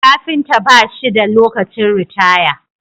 Kafinta bashi da lokacin ritaya